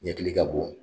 Ɲɛkili ka bon